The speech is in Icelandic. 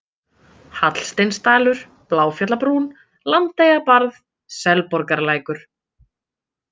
Hallsteinsdalur, Bláfjallabrún, Landeyjabarð, Selborgarlækur